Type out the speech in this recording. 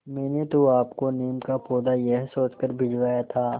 मैंने तो आपको नीम का पौधा यह सोचकर भिजवाया था